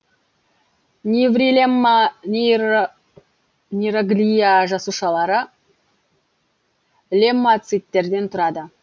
неврилемма нейроглия жасушалары леммоциттерден тұрады